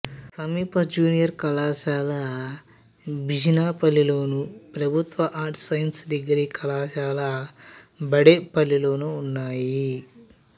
సమీప జూనియర్ కళాశాల బిజినపల్లిలోను ప్రభుత్వ ఆర్ట్స్ సైన్స్ డిగ్రీ కళాశాల బడేపల్లిలోనూ ఉన్నాయి